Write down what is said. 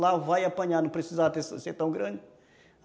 Lá vai apanhar, não precisava ser tão grande.